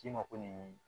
K'i ma ko nin